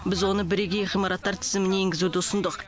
біз оны бірегей ғимараттар тізіміне енгізуді ұсындық